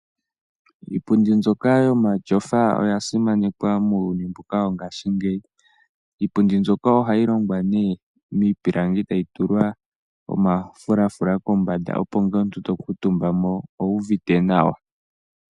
Iipundi mbyoka yomashofa oya simanekwa muuyuni mbuka wo ngashiingeyi. Iipundi mbyoka ohayi longwa nee miipilangi tayi tulwa omafulaafula kombanda opo na omuntu to kuutumba mo owu uvite nawa.